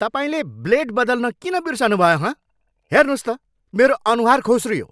तपाईँले ब्लेड बदल्न किन बिर्सनुभयो हँ? हेर्नुहोस् त मेरो अनुहार खोस्रियो!